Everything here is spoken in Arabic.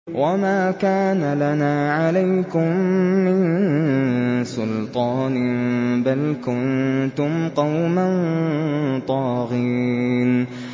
وَمَا كَانَ لَنَا عَلَيْكُم مِّن سُلْطَانٍ ۖ بَلْ كُنتُمْ قَوْمًا طَاغِينَ